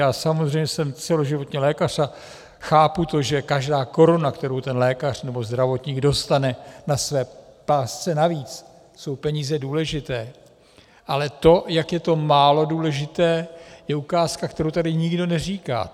Já samozřejmě jsem celoživotní lékař a chápu to, že každá koruna, kterou ten lékař nebo zdravotník dostane na své pásce navíc, jsou peníze důležité, ale to, jak je to málo důležité, je ukázka, kterou tady nikdo neříká.